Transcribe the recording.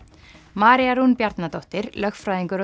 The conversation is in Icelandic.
María Rún Bjarnadóttir lögfræðingur og